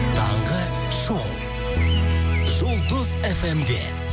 таңғы шоу жұлдыз фм де